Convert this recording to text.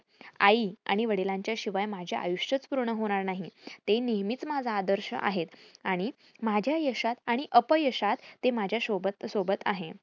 आई आणि वडिलांच्या शिवाय माझे आयुष्यच पूर्ण होणार नाही. ते नेहमीच माझा आदर्श आहेत आणि माझ्या यशात आणि अपयशात ते माझ्या शोबत सोबत आहे.